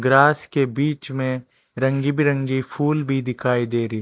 grass के बीच में रंग बिरंगे फुल भी दिखाई दिखाई दे रही--